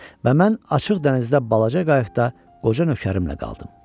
Və mən açıq dənizdə balaca qayıqda qoca nökərimlə qaldım.